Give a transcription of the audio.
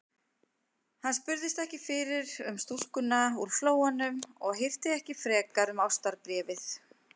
Hann spurðist ekki fyrir um stúlkuna úr Flóanum og hirti ekki frekar um ástarbréfið.